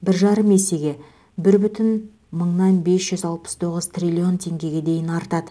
бір жарым есеге бір бүтін мыңнан бес жүз алпыс тоғыз триллион теңгеге дейін артады